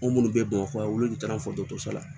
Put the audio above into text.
O minnu bɛ bamakɔ yan olu tɛ taa foto ta la